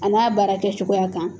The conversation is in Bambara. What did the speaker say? An n'a baara kɛ cogoya kan